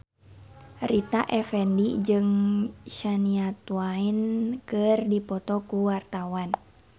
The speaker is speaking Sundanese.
Rita Effendy jeung Shania Twain keur dipoto ku wartawan